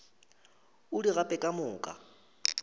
o di gape ka moka